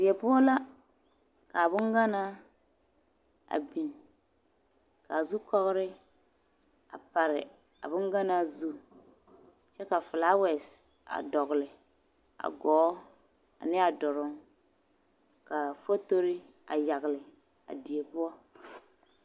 Die poɔ la k'a boŋganaa a biŋ k'a zukɔgere a pare a boŋganaa zu kyɛ ka filaawɛse a dɔgele a gɔɔ ane a duruŋ k'a fotori a yagele a die poɔ.